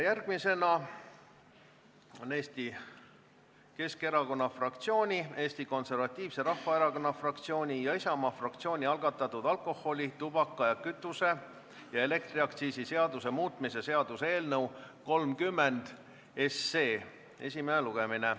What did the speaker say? Järgmisena on päevakorras Eesti Keskerakonna fraktsiooni, Eesti Konservatiivse Rahvaerakonna fraktsiooni ja Isamaa fraktsiooni algatatud alkoholi-, tubaka-, kütuse- ja elektriaktsiisi seaduse muutmise seaduse eelnõu esimene lugemine.